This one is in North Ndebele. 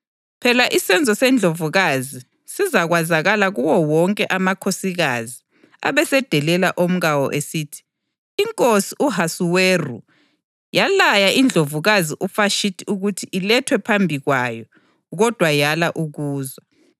Phela isenzo seNdlovukazi sizakwazakala kuwo wonke amakhosikazi, abesedelela omkawo esithi, ‘Inkosi u-Ahasuweru yalaya iNdlovukazi uVashithi ukuthi ilethwe phambi kwayo, kodwa yala ukuza.’